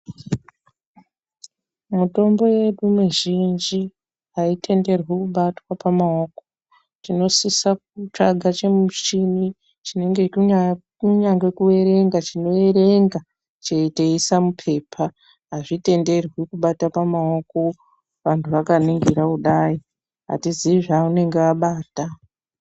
Mitombo yedu mizhinji haitenderwi kubatwa pamaoko. Tinosisa kutsvaka chimushini chinenge chechi.. kunyange kuerenga chinoerenga, cheiisa mupepa. Hazvitenderwi kubata pamaoko vantu vakaningira kudai. Hatiziyi zvaunenge abata.